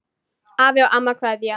Afi og amma kveðja